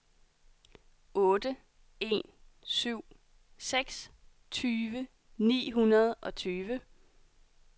otte en syv seks tyve ni hundrede og tyve